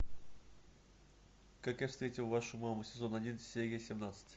как я встретил вашу маму сезон один серия семнадцать